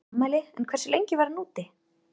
Hann var í afmæli en hversu lengi var hann úti?